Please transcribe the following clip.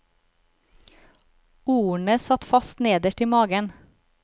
Ordene satt fast nederst i magen.